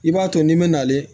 I b'a to n'i mɛna ale